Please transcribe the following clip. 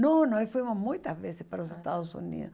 Não, nós fomos muitas vezes para os Estados Unidos.